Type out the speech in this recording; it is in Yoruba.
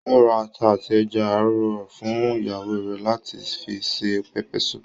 Ó ra ata àti ẹja àrọ̀ fún ìyàwó rẹ láti fi se pepper soup